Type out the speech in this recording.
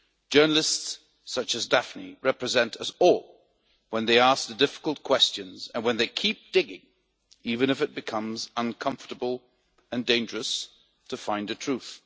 Journalists such as Daphne represent us all when they ask the difficult questions and when they keep digging even if it becomes uncomfortable and dangerous to find the truth.